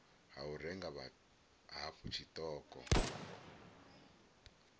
ha u renga hafhu tshiṱoko